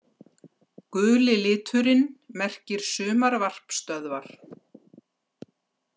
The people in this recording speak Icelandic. Guli liturinn merkir sumarvarpstöðvar.